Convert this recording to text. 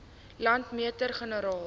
landmeter generaal